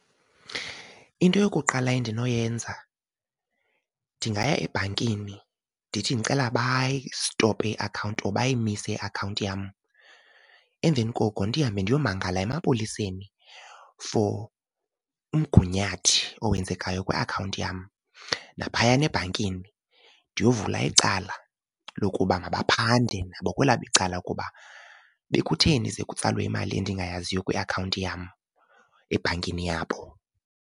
Into yokuqala endinoyenza ndingaya ebhankini ndithi ndicela bayistophe iakhawunti or bayimise iakhawunti yam. Emveni koko ndihambe ndiyomangala emapoliseni for omgunyathi owenzekayo kwiakhawunti yam. Naphayana ebhankini ndiyovula icala lokuba mabaphande nabo kwelabo icala ukuba bekutheni ze kutsalwe imali endingayaziyo kwiakhawunti yam ebhankini yabo.